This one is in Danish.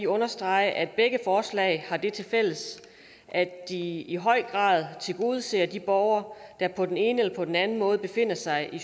understrege at begge forslag har det tilfælles at de i høj grad tilgodeser de borgere der på den ene eller anden måde befinder sig i